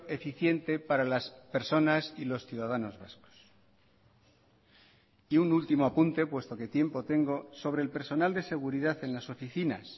eficiente para las personas y los ciudadanos vascos y un último apunte puesto que tiempo tengo sobre el personal de seguridad en las oficinas